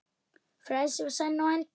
Frelsið var senn á enda.